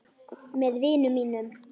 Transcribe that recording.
Með vinum mínum.